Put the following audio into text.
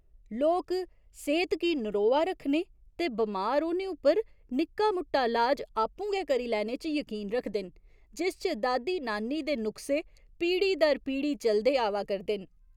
लोक सेह्त गी नरोआ रक्खने ते बमार होने उप्पर निक्का मुट्टा लाज आपूं गै करी लैने च यकीन रखदे न जिस च दादी नानी दे नुख्से पीढ़ी दर पीढ़ी चलदे आवा करदे न।